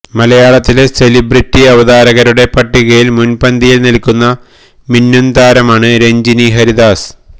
മലയാളത്തിലെ സെലബ്രിറ്റി അവതാരകരുടെ പട്ടികയിൽ മുൻപന്തിയിൽ നിൽക്കുന്ന മിന്നും താരമാണ് രഞ്ജിനി ഹരിദാസ്